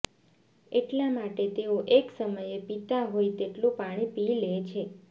એટલા માટે તેઓ એક સમયે પીતા હોય તેટલું પાણી લે છે